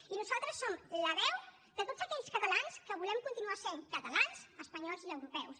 i nosaltres som la veu de tots aquells catalans que volem continuar sent catalans espanyols i europeus